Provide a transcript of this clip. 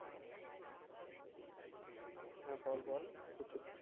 হ্যাঁ বল বল